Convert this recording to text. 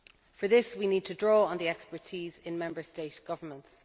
For this we need to draw on the expertise in Member State governments.